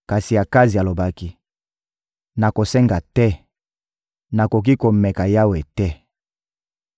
Kasi Akazi alobaki: — Nakosenga te, nakoki komeka Yawe te.